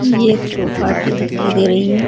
ये एक चौपाटी दिखाई दे रही है।